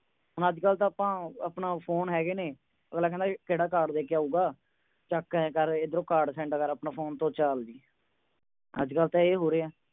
ਹੁਣ ਅਜ ਕਲ ਤਾ ਆਪਾਂ ਆਪਣਾ phone ਹੈਗੇ ਨੇ ਅਗਲਾ ਕਹੰਦਾ ਕੇ ਕਿਹੜਾ card ਦੇ ਕੇ ਆਊਂਗਾ ਚਕ ਏਹ ਕਰ ਇਧਰੋਂ card send ਕਰ ਅਪਨੇ phone ਤੋ ਚਲ ਅੱਜ ਕਲ ਤੇ ਇਹ ਹੋ ਰਿਹਾ